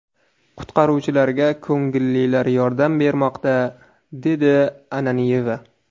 Qutqaruvchilarga ko‘ngillilar yordam bermoqda”, dedi Ananyeva.